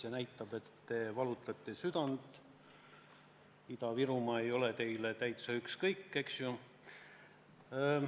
See näitab, et te valutate südant ja Ida-Virumaa ei ole teile täiesti ükskõik.